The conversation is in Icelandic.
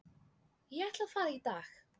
Ég ætla að fara í dag.